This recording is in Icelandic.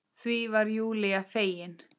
Því var Júlía fegin.